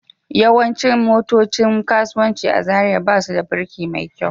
Yawancin motocin kasuwanci a Zariya ba su da birki mai kyau